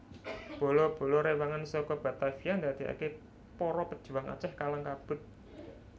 Bala bala rewangan saka Batavia ndadekake para pejuang Aceh kalang kabut